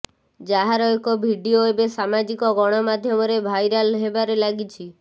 ଯାହାର ଏକ ଭିଡ଼ିଓ ଏବେ ସାମାଜିକ ଗଣମାଧ୍ୟମ ରେ ଭାଇ ରାଲ୍ ହେବାରେ ଲାଗିଛି